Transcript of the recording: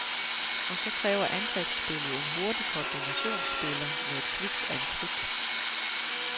Og så kræver angrebsspillet en hurtig kombinationsspiller med et kvikt antrit.